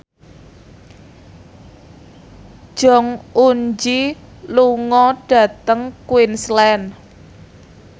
Jong Eun Ji lunga dhateng Queensland